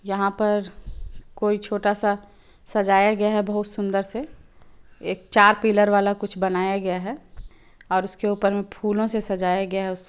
यहाँ पर कोई छोटा- सा सजाया गया है बहुत सुंदर से एक चार पिलर वाला कुछ बनाया गया है और उसके ऊपर मे फूलों से सजाया गया है उस --